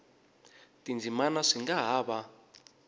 tindzimana swi nga ha va